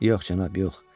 Yox, cənab, yox.